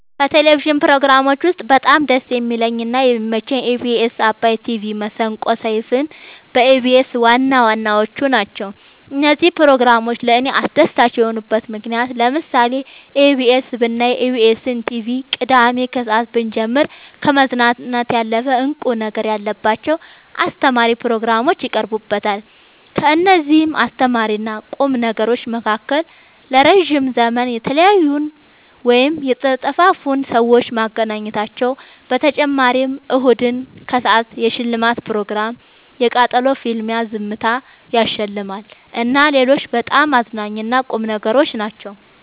ከቴሌቭዥን ፕሮግራሞች ውስጥ በጣም ደስ የሚለኝ እና የሚመቸኝ ኢቢኤስ አባይ ቲቪ መሰንቆ ሰይፋን በኢቢኤስ ዋናዋናዎቹ ናቸው። እነዚህ ፕሮግራሞች ለእኔ አስደሳች የሆኑበት ምክንያት ለምሳሌ ኢቢኤስ ብናይ ኢቢኤስን ቲቪ ቅዳሜ ከሰአት ብንጀምር ከመዝናናት ያለፈ እንቁ ነገር ያለባቸው አስተማሪ ፕሮግራሞች ይቀርቡበታል ከእነዚህም አስተማሪና ቁም ነገሮች መካከል ለረዥም ዘመን የተለያዩን ወይም የተጠፋፉትን ሰዎች ማገናኘታቸው በተጨማሪም እሁድን ከሰአት የሽልማት ፕሮግራም የቃጠሎ ፍልሚያ ዝምታ ያሸልማል እና ሌሎችም በጣም አዝናኝ እና ቁም ነገሮች ናቸው።